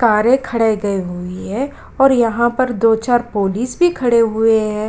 कारें खड़े गए हुई हैं और यहाँ पर दो-चार पुलिस भी खड़े हुए हैं।